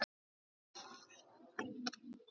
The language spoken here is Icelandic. Ég læðist með hádegis